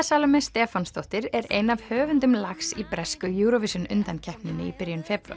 Salóme Stefánsdóttir er ein af höfundum lags í bresku Eurovision undankeppninni í byrjun febrúar